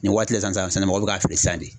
Nin waati la sisan mɔgɔw bɛ k'a feere sisan de.